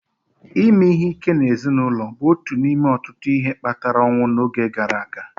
Ime ihe ike n'ezinụlọ bụ otu n'ime ọtụtụ ihe kpatara ọnwụ n'oge gara aga